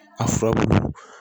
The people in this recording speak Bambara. A furabulu